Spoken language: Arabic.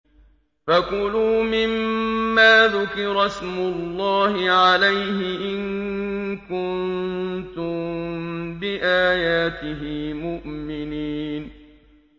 فَكُلُوا مِمَّا ذُكِرَ اسْمُ اللَّهِ عَلَيْهِ إِن كُنتُم بِآيَاتِهِ مُؤْمِنِينَ